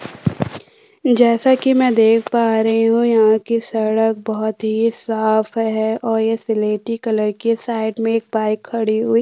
जैसे कि में देख पा रही हूँ यहाँ की सड़क बहुत ही साफ है और यह सलेटी कलर के साइड एक बाईक खड़ी हुई --